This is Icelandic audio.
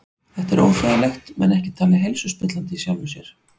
Þetta er óþægilegt en ekki talið heilsuspillandi í sjálfu sér.